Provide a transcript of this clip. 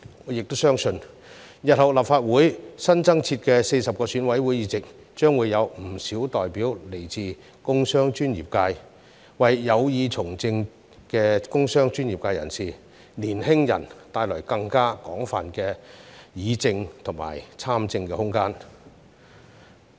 我也相信日後立法會新增設的40個選委會議席將會有不少代表來自工商專業界，為有意從政的工商專業界人士和年輕人帶來更廣泛的議政和參政空間。